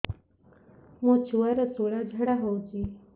ମୋ ଛୁଆର ସୁଳା ଝାଡ଼ା ହଉଚି